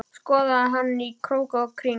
Skoðaði hana í krók og kring.